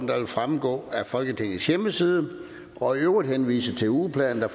der vil fremgå af folketingets hjemmeside og i øvrigt henvise til ugeplanen der